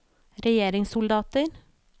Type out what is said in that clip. regjeringssoldater